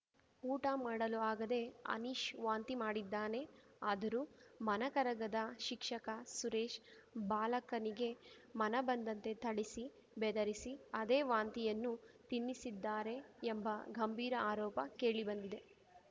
ಊಟ ಮಾಡಲು ಆಗದೆ ಅನೀಶ್‌ ವಾಂತಿ ಮಾಡಿದ್ದಾನೆ ಆದರೂ ಮನ ಕರಗದ ಶಿಕ್ಷಕ ಸುರೇಶ್‌ ಬಾಲಕನಿಗೆ ಮನಬಂದಂತೆ ಥಳಿಸಿ ಬೆದರಿಸಿ ಅದೇ ವಾಂತಿಯನ್ನು ತಿನ್ನಿಸಿದ್ದಾರೆ ಎಂಬ ಗಂಭೀರ ಆರೋಪ ಕೇಳಿಬಂದಿದೆ